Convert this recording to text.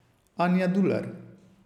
Anja Dular.